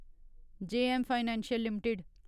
JM financial limited